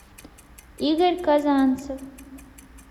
игорь казанцев